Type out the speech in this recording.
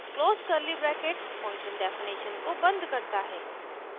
close curly bracket function definition को बंद करता है